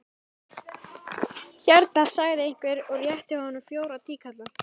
Hérna, sagði einhver og rétti honum fjóra tíkalla.